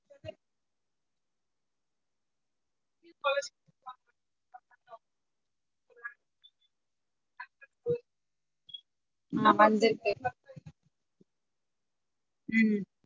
ஆஹ் வந்துருக்கு உம்